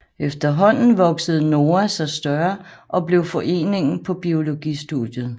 Efterhånden voksede NOA sig større og blev Foreningen på biologistudiet